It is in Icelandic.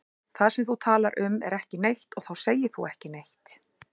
Það sem þú talar um er ekki neitt og þá segir þú ekki neitt.